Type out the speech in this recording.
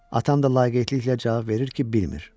Atam da laqeydliklə cavab verir ki, bilmir.